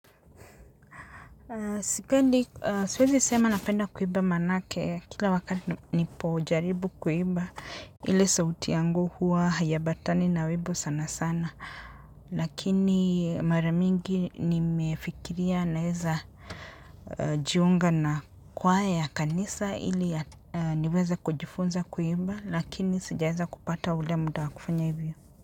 Siwezi sema napenda kuimba manake kila wakati nipojaribu kuimba hili sauti yangu huwa hayambatani na wimbo sana sana lakini mara mingi nimefikiria naeza jiunga na kwaya ya kanisa ili niweza kujifunza kuimba lakini sijaeza kupata ule muda kufanya hivyo.